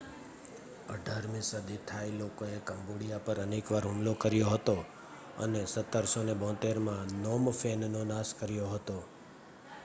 18મી સદીમાં થાઈ લોકોએ કંબોડિયા પર અનેક વાર હુમલો કર્યો હતો અને 1772માં નોમ ફેનનો નાશ કર્યો હતો